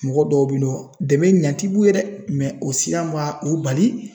Mɔgɔ dɔw bi nɔ dɛmɛ ɲa ti b'u ye dɛ mɛ o siran b'a o bali